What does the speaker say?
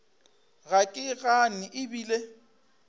ga ke gane e bile